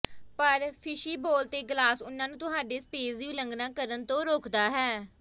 ਪਰ ਫਿਸ਼ਬੀਬੋਲ ਤੇ ਗਲਾਸ ਉਨ੍ਹਾਂ ਨੂੰ ਤੁਹਾਡੇ ਸਪੇਸ ਦੀ ਉਲੰਘਣਾ ਕਰਨ ਤੋਂ ਰੋਕਦਾ ਹੈ